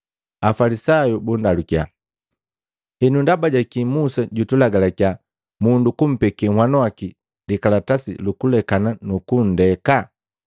Afalisayu bundalukia, “Henu ndaba jaki Musa jutulagalakia mundu kumpeke nhwanu waki likalatasi luku lekana nukunndeka?”